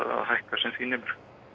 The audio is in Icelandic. að hækka sem því nemur